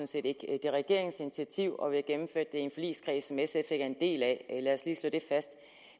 set ikke det er regeringens initiativ og vi har gennemført en forligskreds som sf ikke er en del af lad os lige slå det fast